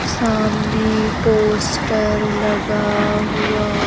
सामने पोस्टर लगा हुआ।